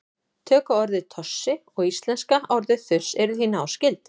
tökuorðið tossi og íslenska orðið þurs eru því náskyld